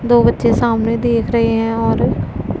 दो बच्चे सामने देख रहे है और--